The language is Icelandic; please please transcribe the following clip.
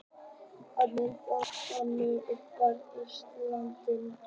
Heimildir og mynd: Agnar Helgason: Uppruni Íslendinga.